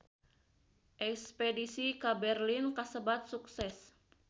Espedisi ka Berlin kasebat sukses